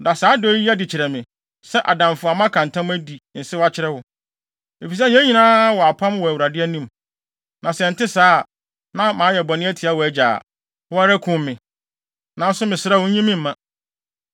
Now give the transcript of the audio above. Da saa adɔe yi adi kyerɛ me, sɛ adamfo a maka ntam adi nsew akyerɛ wo, efisɛ yɛn nyinaa wɔ apam wɔ Awurade anim. Na sɛ ɛnte saa, na mayɛ bɔne atia wʼagya a, wo ara kum me. Nanso mesrɛ wo, nyi me mma.”